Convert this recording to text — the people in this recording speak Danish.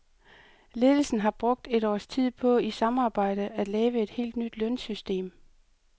Ledelsen har brugt et års tid på i samarbejde at lave et helt nyt lønsystem.